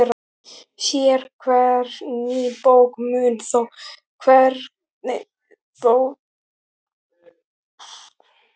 Sérhver ný bók mun þó draga úr vægi þessarar greiningar.